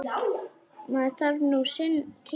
Maður þarf nú sinn tíma.